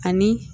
Ani